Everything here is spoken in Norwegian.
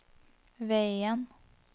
veien